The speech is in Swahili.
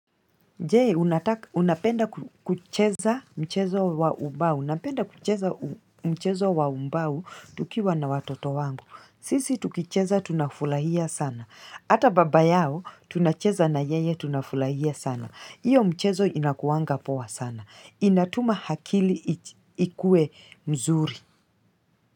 Jee unapenda kucheza mchezo wa ubau. Unapenda kucheza mchezo wa umbau tukiwa na watoto wangu. Sisi tukicheza tunafulahia sana. Hata baba yao tunacheza na yeye tunafulahia sana. Iyo mchezo inakuanga powa sana. Inatuma hakili ikue mzuri.